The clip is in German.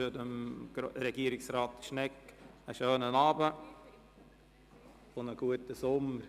Ich wünsche Herrn Regierungsrat Schnegg einen schönen Abend und einen guten Sommer.